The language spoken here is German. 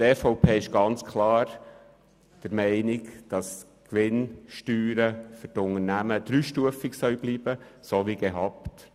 Die EVP ist ganz klar der Meinung, dass die Gewinnsteuern für Unternehmen weiterhin dreistufig bleiben sollen.